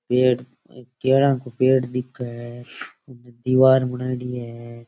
पेड़ करा के पेड़ दिख है दिवार बनायेडी है।